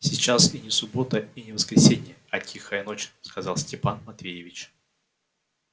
сейчас и не суббота и не воскресенье а тихая ночь сказал степан матвеевич